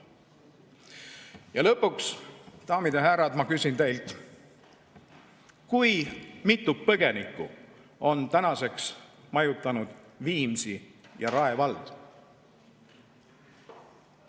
Ja lõpuks, daamid ja härrad, ma küsin teilt: mitu põgenikku on tänaseks majutanud Viimsi ja Rae vald?